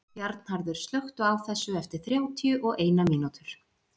Bjarnharður, slökktu á þessu eftir þrjátíu og eina mínútur.